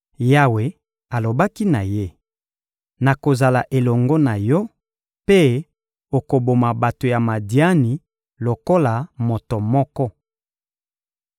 Yawe alobaki na ye: — Nakozala elongo na yo, mpe okoboma bato ya Madiani lokola moto moko.